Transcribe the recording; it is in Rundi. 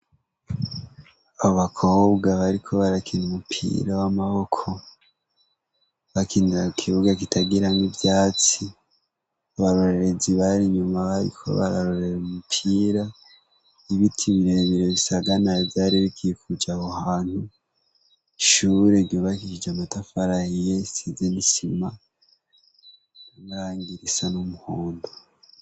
Abakobwa bariko barakina umupira w'amaboko, bakinira ku kibuga kitagiramwo ivyatsi, abarorerezi bari inyuma bariko bararorera umupira, ibiti birebire bisaganaye vyari bikikuje aho hantu, ishure ryubakishije amatafari ahiye risize n'isima, n'irangi risa n'umuhondo.